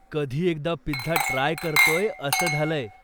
कधी एकदा pizza try करतोय असं झालंय.